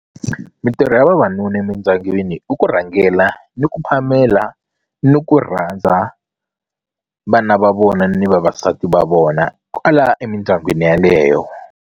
Mitirho ya vavanuna emindyangwini i ku rhangela ni ku phamela ni ku rhandza vana va vona ni vavasati va vona kwala emindyangwini yeleyo.